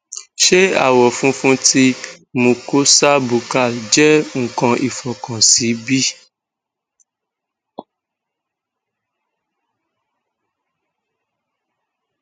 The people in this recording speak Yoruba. ṣe awọ funfun ti mucosa buccal jẹ nkàn ifokan si bi